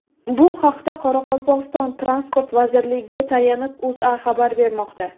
Bu haqda, Qoraqalpog‘iston Transport vazirligiga tayanib, O‘zA xabar bermoqda .